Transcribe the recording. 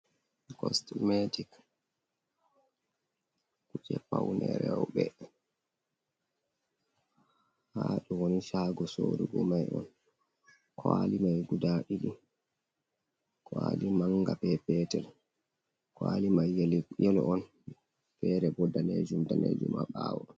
Kosmetic kuje paune reobe. haɗo ni shago sorugo mai on. Kwaali mai guɗa ɗiɗi. Kwali manga be petel. Kwaali mai yelo on fere bo ɗanejum ɗanejum ha bawo.